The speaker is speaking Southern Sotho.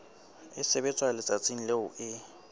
e sebetswa letsatsing leo e